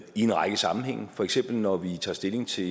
i en række sammenhænge for eksempel når vi tager stilling til